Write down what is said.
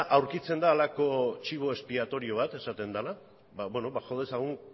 aurkitzen da halako chivo expiatorio bat esaten dena ba beno jo dezagun